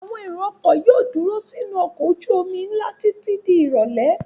Àwọn èrò-ọkọ̀ yóò dúró sínú ọkọ̀ ojú-omi ńlá títí di ìrọ́lẹ́.